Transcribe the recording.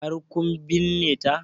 Har kun binne ta?